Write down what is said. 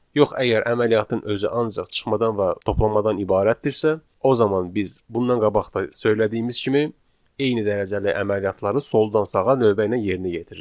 Yox əgər əməliyyatın özü ancaq çıxmadan və toplamadan ibarətdirsə, o zaman biz bundan qabaq da söylədiyimiz kimi, eyni dərəcəli əməliyyatları soldan sağa növbə ilə yerinə yetiririk.